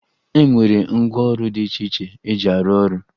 E nwere ngwaọrụ dị iche iche eji arụ ọrụ